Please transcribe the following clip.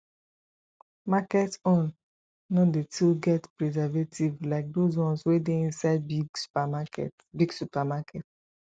market own no dey too get presevatives like those ones wey dey inside big supermarket big supermarket